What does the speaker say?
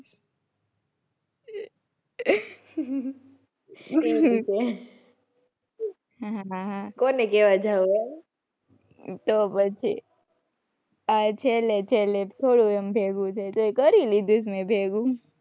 કઈ રીતે. કોને કેવા જાવું. તો પછી. આ છેલ્લે છેલ્લે થોડું એમ ભેગું થાય તોય કરી લીધું છે મે ભેગું.